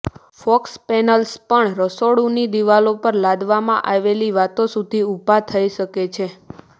focus panels પણ રસોડુંની દિવાલો પર લાદવામાં આવેલી વાતો સુધી ઊભા થઈ શકે છે